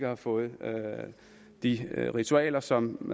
have fået de ritualer som